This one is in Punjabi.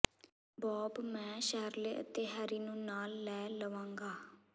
ਬੌਬ ਮੈਂ ਸ਼ੈਰਲੇ ਅਤੇ ਹੈਰੀ ਨੂੰ ਨਾਲ ਲੈ ਲਵਾਂਗਾ